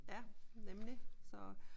Ja nemlig